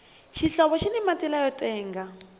xihlovo xini mati lamo tenga